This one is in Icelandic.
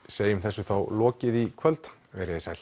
segjum þessu lokið í kvöld veriði sæl